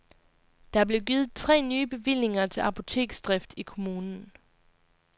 Der er blevet givet tre nye bevillinger til apoteksdrift i kommunen.